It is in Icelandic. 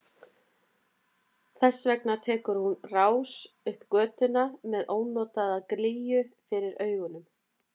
Þess vegna tekur hún á rás upp götuna með ónotalega glýju fyrir augunum.